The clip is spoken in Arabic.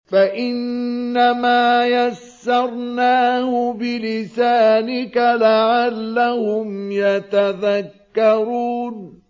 فَإِنَّمَا يَسَّرْنَاهُ بِلِسَانِكَ لَعَلَّهُمْ يَتَذَكَّرُونَ